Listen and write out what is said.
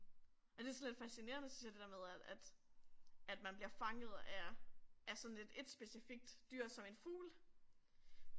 Men det sådan lidt fascinerende synes jeg det der med at at at man bliver fanget af, af sådan et et specifikt dyr som en fugl